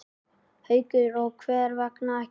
Haukur: Og hvers vegna ekki?